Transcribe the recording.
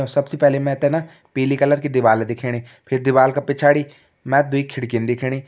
और सबसे पहले मैं त न पिली कलर की दीवाल दिखेणी फिर दीवाल का पिछाड़ी मैं दुई खिड़कीन दिखेणी।